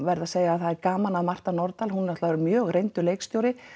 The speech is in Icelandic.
verð að segja að það er gaman að Marta Nordal hún er náttúrulega mjög reyndur leikstjóri